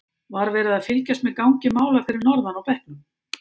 Var verið að fylgjast með gangi mála fyrir norðan á bekknum?